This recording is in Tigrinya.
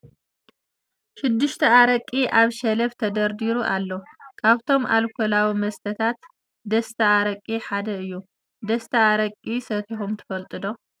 ሽድሽተ ኣረቂ ኣብ ሸልፍ ተደርዲሩ ኣሎ ። ካብቶም ኣልከላዊ መስተታት ደስታ ኣረቂ ሓደ እዩ ። ደስታ ኣረቂ ሰቲኩም ትፈልጡ ዶ ?